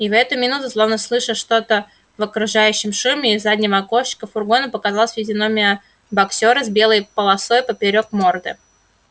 и в эту минуту словно слыша что-то в окружающем шуме из заднего окошечка фургона показалась физиономия боксёра с белой полосой поперёк морды